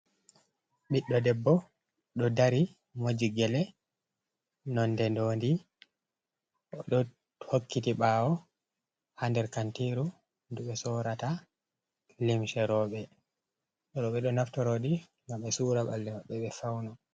Ɓiɗdo debbo ɗo dari moji gelle nonde ndondi ɗo hokkiti ɓawo, ha nder kantiru ndu ɓe sorata limse roɓe ɓe ɗo naftarodi ngam be sora balle be ɓe fauna.